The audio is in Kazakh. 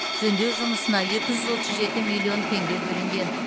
жөндеу жұмысына екі жүз отыз жеті миллион теңге бөлінген